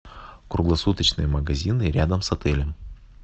круглосуточные магазины рядом с отелем